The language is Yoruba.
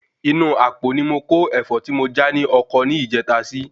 Inú apo ni mó kó Ẹ̀fọ́ tí mo já ní ọkọ ni ìjèta si